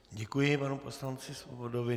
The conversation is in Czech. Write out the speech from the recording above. Děkuji panu poslanci Svobodovi.